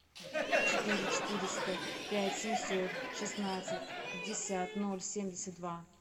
четыре четыреста пять семьсот шестнадцать пятьдесят ноль семьдесят два